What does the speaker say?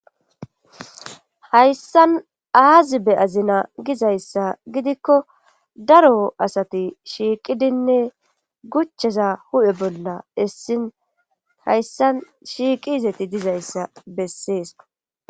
Hayssan aazibe azina gizayssa gidikko daro asati shiiqidinne guchcheza hu7e bolla essin hayssan shiiqiizeti dizayssa bessees